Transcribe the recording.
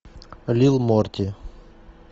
лил морти